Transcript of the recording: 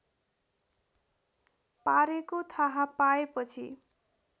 पारेको थाहा पाएपछि